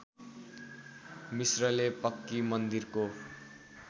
मिश्रले पक्की मन्दिरको